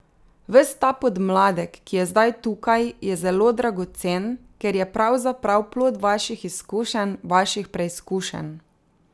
Ves ta podmladek, ki je zdaj tukaj, je zelo dragocen, ker je pravzaprav plod vaših izkušenj, vaših preizkušenj.